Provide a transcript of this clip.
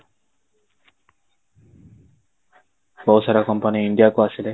ବହୁତ ସାରା company India କୁ ଆସିଲେ